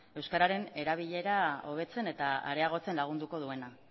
euskararen erabilera hobetzen eta areagotzen lagunduko duena